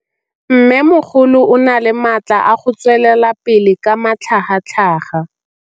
Mmêmogolo o na le matla a go tswelela pele ka matlhagatlhaga.